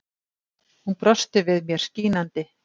Hún brosti við mér, skínandi.